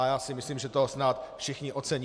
A já si myslím, že to snad všichni ocení.